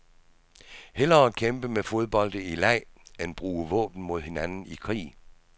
Hellere kæmpe med fodbolde i leg end bruge våben mod hinanden i krig.